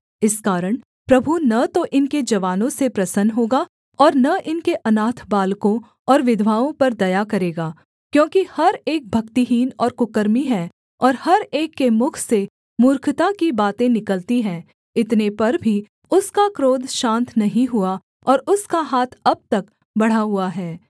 इस कारण प्रभु न तो इनके जवानों से प्रसन्न होगा और न इनके अनाथ बालकों और विधवाओं पर दया करेगा क्योंकि हर एक भक्तिहीन और कुकर्मी है और हर एक के मुख से मूर्खता की बातें निकलती हैं इतने पर भी उसका क्रोध शान्त नहीं हुआ और उसका हाथ अब तक बढ़ा हुआ है